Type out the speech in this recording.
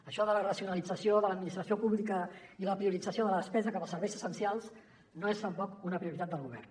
això de la racionalització de l’administració pública i la priorització de la despesa cap als serveis essencials no és tampoc una prioritat del govern